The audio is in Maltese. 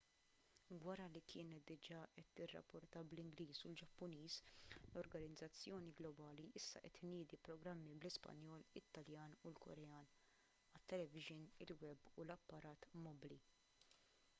wara li kienet diġà qed tirrapporta bl-ingliż u l-ġappuniż l-organizzazzjoni globali issa qed tniedi programmi bl-ispanjol it-taljan u l-korean għat-televixin il-web u l-apparat mobbli